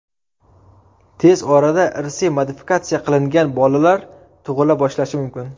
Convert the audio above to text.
Tez orada irsiy modifikatsiya qilingan bolalar tug‘ila boshlashi mumkin.